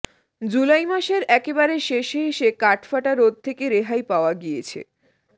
জুলাই মাসের একেবারে শেষে এসে কাঠফাটা রোদ থেকে রেহাই পাওয়া গিয়েছে